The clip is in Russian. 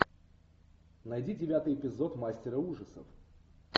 найди девятый эпизод мастера ужасов